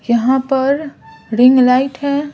यहां पर ring light है।